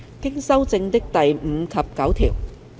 經修正的第5及9條。